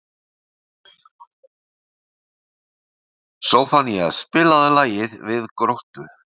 Soffanías, spilaðu lagið „Við Gróttu“.